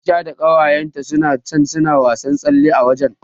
Aisha da ƙawayenta suna can suna wasan tsalle a waje.